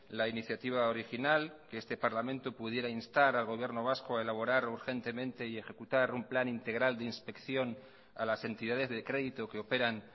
la iniciativa original que este parlamento pudiera instar al gobierno vasco a elaborar urgentemente y ejecutar un plan integral de inspección a las entidades de crédito que operan